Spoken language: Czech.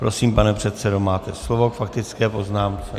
Prosím, pane předsedo, máte slovo k faktické poznámce.